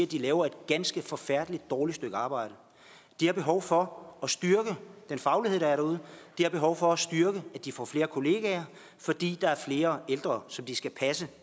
de laver et ganske forfærdeligt dårligt stykke arbejde de har behov for at styrke den faglighed der er derude de har behov for at styrke at de får flere kolleger fordi der er flere ældre som de skal passe